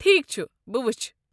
ٹھیكھ چھُ، بہٕ وٕچھِ۔